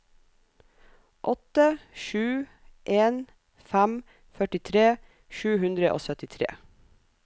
åtte sju en fem førtitre sju hundre og syttitre